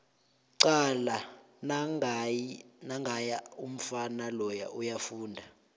cala nangiya umfana loya uyafunda